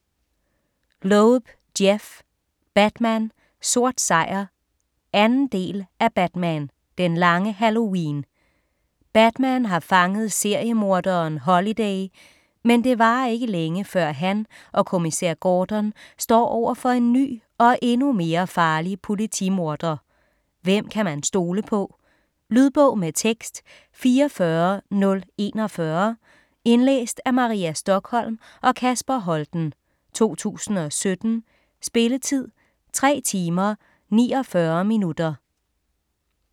Loeb, Jeph: Batman - sort sejr 2. del af Batman - den lange halloween. Batman har fanget seriemorderen Holiday, men det varer ikke længe, før han og Kommissær Gordon står over for en ny og endnu mere farlig politimorder. Hvem kan man stole på? Lydbog med tekst 44041 Indlæst af Maria Stokholm og Kasper Holten, 2017. Spilletid: 3 timer, 49 minutter.